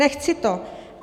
Nechci to.